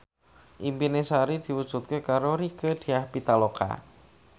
impine Sari diwujudke karo Rieke Diah Pitaloka